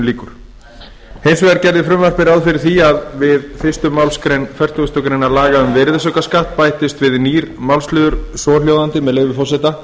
við hins vegar gerði frumvarpið ráð fyrir því að við fyrstu málsgrein fertugustu grein laga um virðisaukaskatt bættist við nýr málsliður svohljóðandi með leyfi forseta